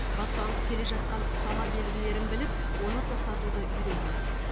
басталып келе жатқан ұстама белгілерін біліп оны тоқтатуды үйреніңіз